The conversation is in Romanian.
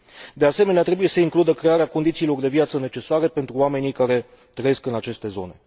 De asemenea, trebuie să includă crearea condițiilor de viață necesare pentru oamenii care trăiesc în aceste zone.